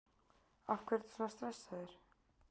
Af hverju ertu svona stressaður?